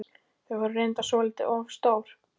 Þau voru reyndar svolítið of stór.